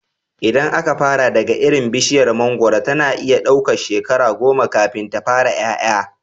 Idan aka fara daga iri, bishiyar mangoro tana iya ɗaukan shekara goma kafin ta fara ƴaƴa.